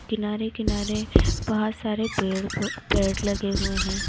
किनारे-किनारे बोहोत सारे पेड़ पो पेड़ लगे हुए हैं।